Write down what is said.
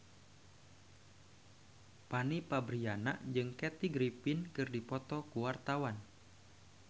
Fanny Fabriana jeung Kathy Griffin keur dipoto ku wartawan